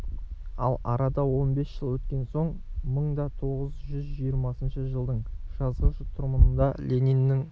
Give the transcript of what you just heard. ал арада он бес жыл өткен соң мың да тоғыз жүз жиырмасыншы жылдың жазғы тұрымында лениннің